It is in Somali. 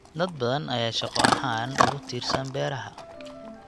Dad badan ayaa shaqo ahaan ugu tiirsan beeraha.